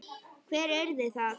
Hver yrði það?